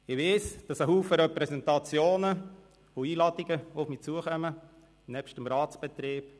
Ich weiss, dass viele Repräsentationen und Einladungen auf mich zukommen, nebst dem Ratsbetrieb.